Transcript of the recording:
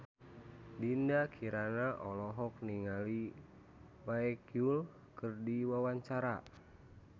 Dinda Kirana olohok ningali Baekhyun keur diwawancara